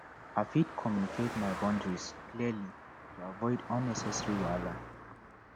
i fit communicate my boundaries clearly to avoid unnecessary wahala